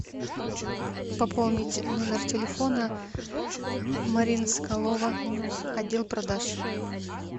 пополнить номер телефона марина соколова отдел продаж